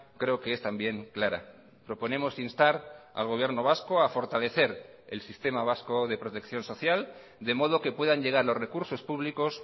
creo que es también clara proponemos instar al gobierno vasco a fortalecer el sistema vasco de protección social de modo que puedan llegar los recursos públicos